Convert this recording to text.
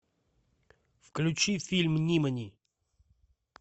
включи фильм нимани